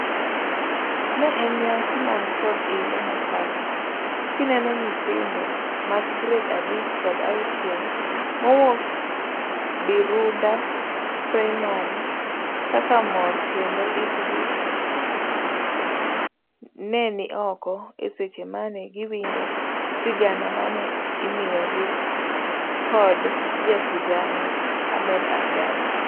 Ne en nyasi man kod ilo mokalo kineno nyithindo mag gred abich kod auchiel mowuok Birunda Primary kaka mor kendo itgi nenioko eseche mane giwinjo sigana mane imiyogi kod jasigana Ahmed Abdallah.